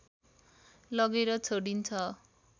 लगेर छोडिन्छ